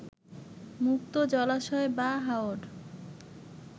মুক্ত জলাশয় বা হাওর